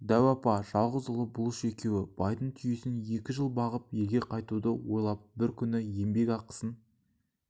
дәу апа жалғыз ұлы бұлыш екеуі байдың түйесін екі жыл бағып елге қайтуды ойлап бір күні еңбек ақысын